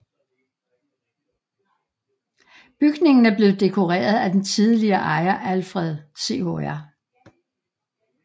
Bygningen er blevet dekoreret af den tidligere ejer Alfred Chr